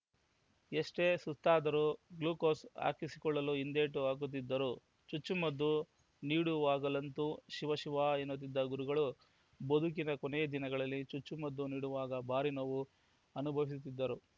ಎಷ್ಟೇ ಸುಸ್ತಾದರೂ ಗ್ಲೂಕೋಸ್‌ ಹಾಕಿಸಿಕೊಳ್ಳಲು ಹಿಂದೇಟು ಹಾಕುತ್ತಿದ್ದರು ಚುಚ್ಚು ಮದ್ದು ನೀಡುವಾಗಲಂತು ಶಿವ ಶಿವ ಎನ್ನುತ್ತಿದ್ದ ಗುರುಗಳು ಬದುಕಿನ ಕೊನೆ ದಿನಗಳಲ್ಲಿ ಚುಚ್ಚು ಮದ್ದು ನೀಡುವಾಗ ಭಾರಿ ನೋವು ಅನುಭವಿಸುತ್ತಿದ್ದರು